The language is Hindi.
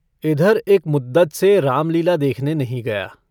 इधर एक मुद्दत से रामलीला देखने नहीं गया।